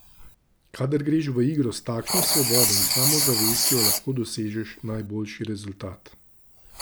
Kadar greš v igro s takšno svobodo in samozavestjo, lahko dosežeš najboljši rezultat.